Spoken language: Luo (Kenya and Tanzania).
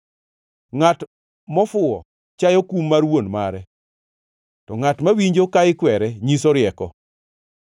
Ngʼat mofuwo chayo kum mar wuon mare, to ngʼat mawinjo ka ikwere nyiso rieko.